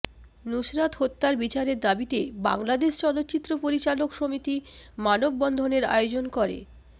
নুসরাত হত্যার বিচারের দাবিতে বাংলাদেশ চলচ্চিত্র পরিচালক সমিতি মানববন্ধনের আয়োজন করে